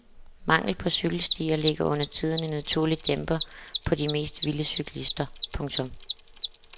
Manglen på cykelstier lægger undertiden en naturlig dæmper på de mest vilde cyklister. punktum